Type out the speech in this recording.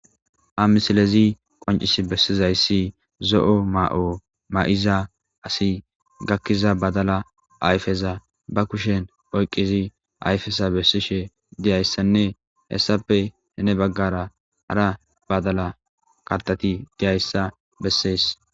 ha misilezi qoncis bessizayssi zo7o ma7o ma7iza asi gakkiza badala ayfeza ba kushen oyqqizi ayfesa bessishe diyayssanne hessappe hene baggara hara badala karteti diyayssa bessees